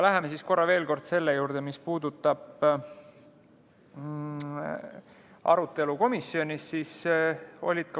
Läheme korra veel selle juurde, mis puudutab arutelu komisjonis.